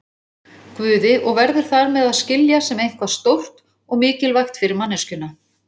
Guði og verður þar með að skilja sem eitthvað stórt og mikilvægt fyrir manneskjuna.